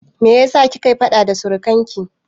Me yasa kike faɗa da surikanki?